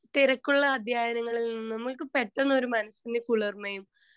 speaker 2 തിരക്കുള്ള അധ്യായങ്ങളിൽ നമ്മുക്ക് മനസിന് പെട്ടന്ന് കുളിർമയും